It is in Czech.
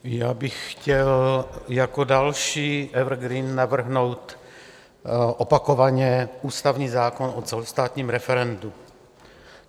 Já bych chtěl jako další evergreen navrhnout opakovaně ústavní zákon o celostátním referendu.